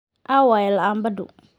Aaway laambaddu?